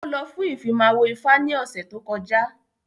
Ó lọ fún Ìfimáwo ifá ní ọ̀sẹ̀ tó kọjá